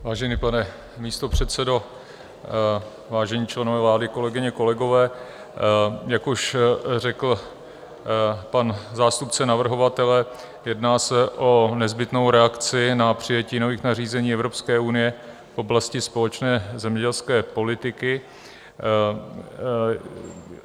Vážený pane místopředsedo, vážení členové vlády, kolegyně, kolegové, jak už řekl pan zástupce navrhovatele, jedná se o nezbytnou reakci na přijetí nových nařízení Evropské unie v oblasti společné zemědělské politiky.